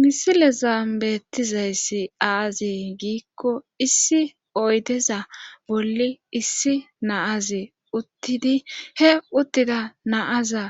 Misile zaambettizayssi aazi giikko issi oydeza bolli issi naazi uttidi he uttida naaza